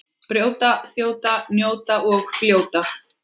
Brjóta, þjóta, njóta og fljóta.